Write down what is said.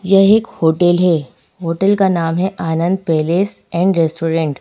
यह एक होटल है होटल का नाम है आनंद पैलेस एंड रेस्टोरेंट ।